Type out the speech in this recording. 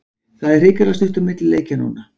Það er hrikalega stutt á milli leikja núna.